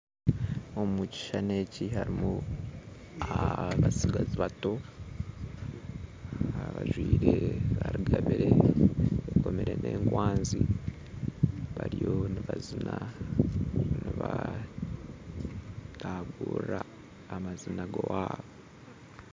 Omu kishuushani eki harimu abatsigazi bato bajwire rugabiire bakoomire n'ekwanzi bariyo nibataagurira amaziina g'owabo